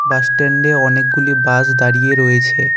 বাসস্ট্যান্ডে অনেকগুলি বাস দাঁড়িয়ে রয়েছে।